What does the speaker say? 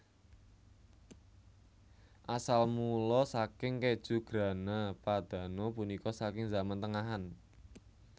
Asal mula saking kèju Grana Padano punika saking zaman tengahan